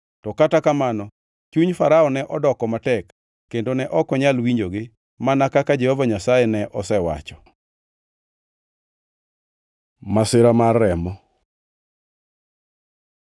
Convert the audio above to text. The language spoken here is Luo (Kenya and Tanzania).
To kata kamano, chuny Farao ne odoko matek kendo ne ok onyal winjogi mana kaka Jehova Nyasaye ne osewacho. Masira mar remo